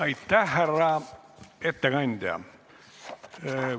Aitäh, härra ettekandja!